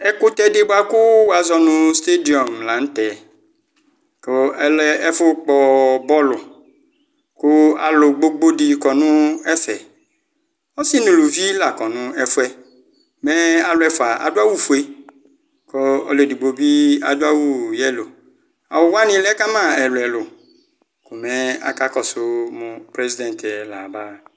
Ɛkutɛ di buakuu wazɔnu stadium laŋtɛKʋ alɛ ɛfʋ Kpɔ bɔlu Kʋ alu gbogbo dini kɔ nʋ ɛfɛƆsi nuluvi lakɔnu ɛfuɛMɛɛ alu ɛfua adu awu fueKʋ ɔlu edigbo bi adʋ awu yellowAwu wani lɛkama ɛlu ɛlu Komɛ akakɔsu muu president yɛ layabaa